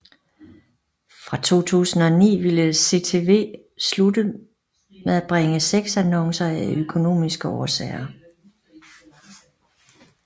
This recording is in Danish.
Fra 2009 ville CTW slutte med bringe sexannoncer af økonomiske årsager